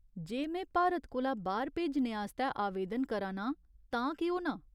जे में भारत कोला बाह्‌र भेजने आस्तै आवेदन करा नां तां केह् होना ?